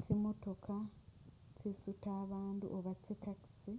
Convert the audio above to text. Tsimotoka tsi’sutaa abandu Oba tsi’taxi